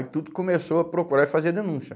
Aí tudo começou a procurar e fazer denúncia.